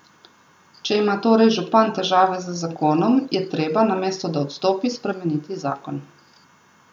Če ima torej župan težave z zakonom, je treba, namesto da odstopi, spremeniti zakon.